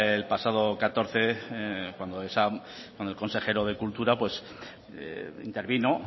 el pasado catorce cuando el consejero de cultura intervino